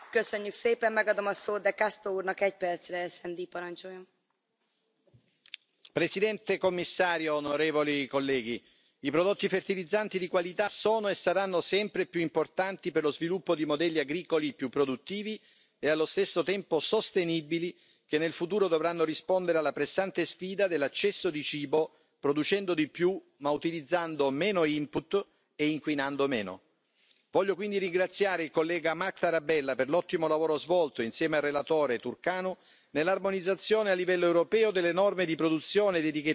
Signora Presidente, onorevoli colleghi, signor Commissario, i prodotti fertilizzanti di qualità sono e saranno sempre più importanti per lo sviluppo di modelli agricoli più produttivi e allo stesso tempo sostenibili, che nel futuro dovranno rispondere alla pressante sfida dell'accesso al cibo, producendo di più ma utilizzando meno input e inquinando meno. Voglio quindi ringraziare il collega Marc Tarabella per l'ottimo lavoro svolto, insieme al relatore Țurcanu, nell'armonizzazione a livello europeo delle norme di produzione e di etichettatura dei fertilizzanti,